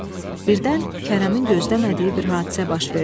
Birdən Kərəmin gözləmədiyi bir hadisə baş verdi.